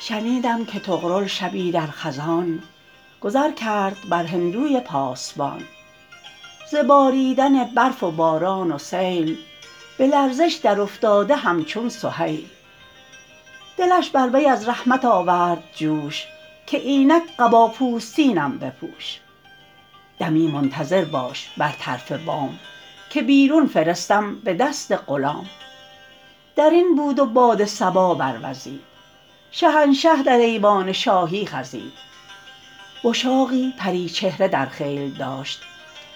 شنیدم که طغرل شبی در خزان گذر کرد بر هندوی پاسبان ز باریدن برف و باران و سیل به لرزش در افتاده همچون سهیل دلش بر وی از رحمت آورد جوش که اینک قبا پوستینم بپوش دمی منتظر باش بر طرف بام که بیرون فرستم به دست غلام در این بود و باد صبا بروزید شهنشه در ایوان شاهی خزید وشاقی پری چهره در خیل داشت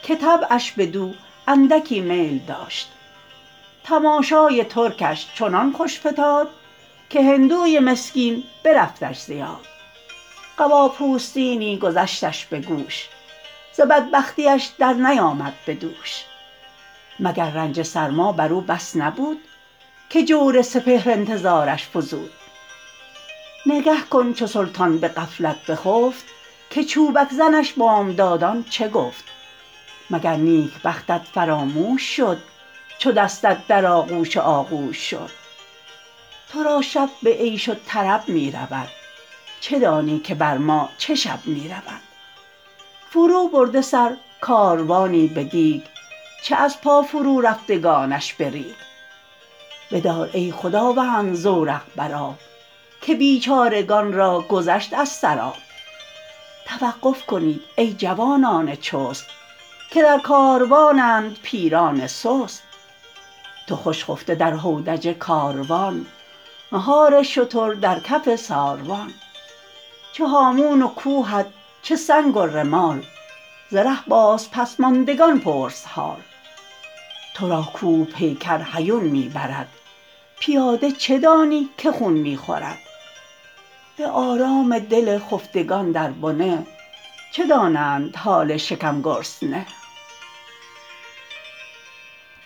که طبعش بدو اندکی میل داشت تماشای ترکش چنان خوش فتاد که هندوی مسکین برفتش ز یاد قبا پوستینی گذشتش به گوش ز بدبختیش در نیامد به دوش مگر رنج سرما بر او بس نبود که جور سپهر انتظارش فزود نگه کن چو سلطان به غفلت بخفت که چوبک زنش بامدادان چه گفت مگر نیکبختت فراموش شد چو دستت در آغوش آغوش شد تو را شب به عیش و طرب می رود چه دانی که بر ما چه شب می رود فرو برده سر کاروانی به دیگ چه از پا فرو رفتگانش به ریگ بدار ای خداوند زورق بر آب که بیچارگان را گذشت از سر آب توقف کنید ای جوانان چست که در کاروانند پیران سست تو خوش خفته در هودج کاروان مهار شتر در کف ساروان چه هامون و کوهت چه سنگ و رمال ز ره باز پس ماندگان پرس حال تو را کوه پیکر هیون می برد پیاده چه دانی که خون می خورد به آرام دل خفتگان در بنه چه دانند حال کم گرسنه